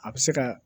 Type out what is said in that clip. A bɛ se ka